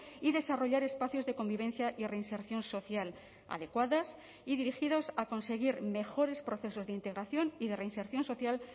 y desarrollar espacios de convivencia y reinserción social adecuadas y dirigidos a conseguir mejores procesos de integración y de reinserción social